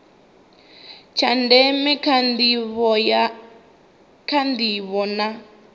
tsha ndeme kha ndivho na